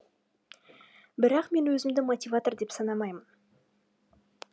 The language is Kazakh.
бірақ мен өзімді мотиватор деп санамаймын